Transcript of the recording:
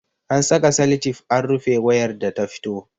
An saka salatif an rufe wayar da ta fito